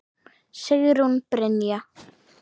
Sigrún Brynja